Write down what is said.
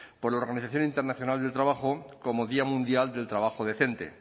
por la organización internacional del trabajo como día mundial del trabajo decente